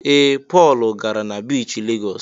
Ee! Pọl gara na biichi Legọs.